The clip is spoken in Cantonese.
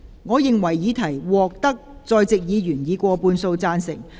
我認為議題獲得在席議員以過半數贊成。